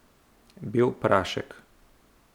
Bel prašek.